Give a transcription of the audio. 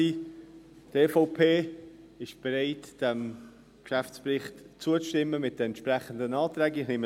Die EVP ist bereit, diesem Geschäftsbericht mit den entsprechenden Anträgen zuzustimmen.